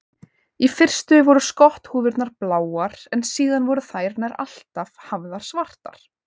Í fyrstu voru skotthúfurnar bláar en síðar voru þær nær alltaf hafðar svartar.